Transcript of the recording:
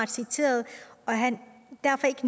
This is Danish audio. citeret og at han derfor ikke